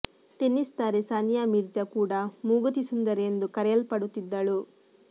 tennis ತಾರೆ ಸಾನಿಯಾ ಮಿರ್ಜಾ ಕೂಡ ಮೂಗುತಿ ಸುಂದರಿ ಎಂದು ಕರೆಯಲ್ಪಡುತ್ತಿದ್ದಳು